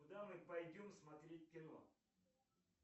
куда мы пойдем смотреть кино